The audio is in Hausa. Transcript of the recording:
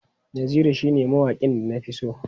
Naziru shine mawaƙin da na fi so.